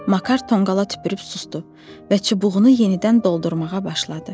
Makar tonqala tüpürüb susdu və çubuğunu yenidən doldurmağa başladı.